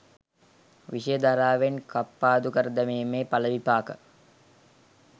විෂය ධාරාවෙන් කප්පාදු කර දැමීමේ ඵලවිපාක